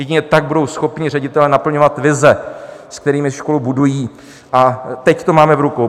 Jedině tak budou schopni ředitelé naplňovat vize, s kterými školu budují, a teď to máme v rukou.